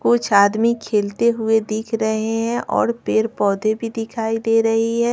कुछ आदमी खेलते हुए दिख रहे हैं और पेड़-पौधे भी दिखाई दे रही है।